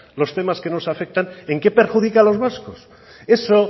los temas que nos afectan en qué perjudica a los vascos eso